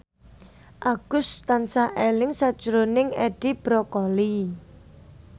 Agus tansah eling sakjroning Edi Brokoli